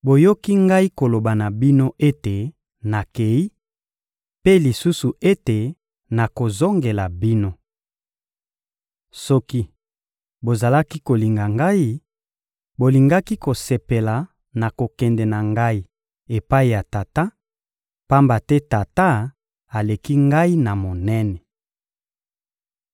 Boyoki Ngai koloba na bino ete nakeyi, mpe lisusu ete nakozongela bino. Soki bozalaki kolinga Ngai, bolingaki kosepela na kokende na Ngai epai ya Tata, pamba te Tata aleki Ngai na monene.